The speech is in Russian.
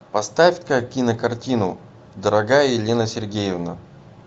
поставь ка кинокартину дорогая елена сергеевна